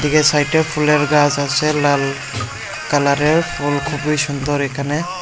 এদিকে সাইটে ফুলের গাছ আছে লাল কালারের ফুল খুবই সুন্দর এখানে।